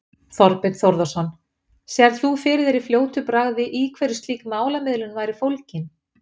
Þorbjörn Þórðarson: Sérð þú fyrir þér í fljótu bragði í hverju slík málamiðlun væri fólgin?